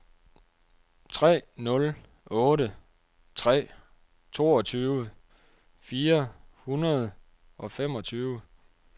tre nul otte tre toogtyve fire hundrede og femogtyve